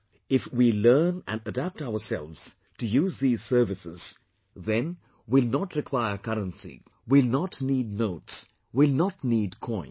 If we learn and adapt ourselves to use these services, then we will not require the currency, we will not need notes, we will not need coins